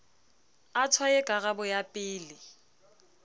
a tshwaye karabo ya pele